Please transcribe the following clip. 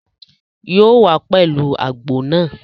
Yóò wá pẹ̀lú àgbo náà